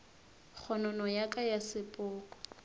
kgonono ya ka ya sepoko